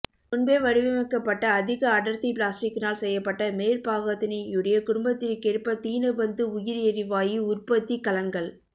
முன்பே வடிவமைக்கப்பட்ட அதிக அடர்த்தி பிளாஸ்டிக்கினால் செய்யப்பட்ட மேற்பாகத்தினையுடைய குடும்பத்திற்கேற்ற தீனபந்து உயிர்எரிவாயு உற்பத்திக்கலன்கள்